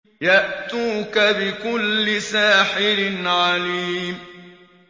يَأْتُوكَ بِكُلِّ سَاحِرٍ عَلِيمٍ